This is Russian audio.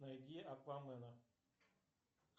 найди аквамена